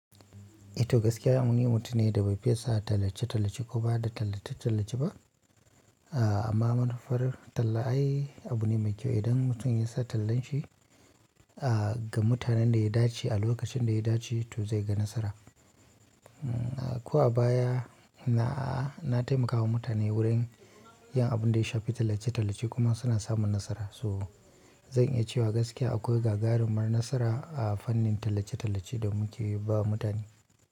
E to gaskiya ni mutun ne da bai fiye sa tallace-tallace ko ba da tallace-tallace ba. Amma manufar talla ai abune mai kyau idan mutum yasa tallan shi a ga mutunen da ya dace a lokacin da ya dace to zaiga nasara. Ko a baya na taimakawa mutane wurin yin abin da ya shafi tallace-tallace kuma suna samun nasara. So zan iya cewa gaskiya akwai gagarumar nasara a fannin tallace-tallace da muke ba mutane.